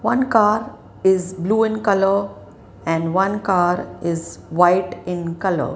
one car is blue in colour and one car is white in colour.